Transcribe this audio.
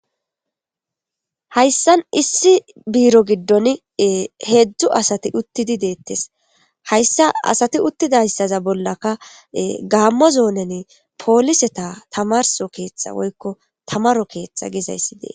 hayssan issi biiro giddoni ee heedzdzu asati uttidi deettes. Hayssa asati uttidayssaza bollaka gaammo zoonen pooliseta tamarso keeththa woykko tamaro keeththa gizayssi dee.